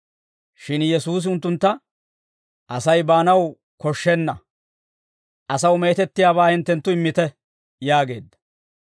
Shin Yesuusi unttuntta, «Asay baanaw koshshenna; asaw meetettiyaabaa hinttenttu immite» yaageedda.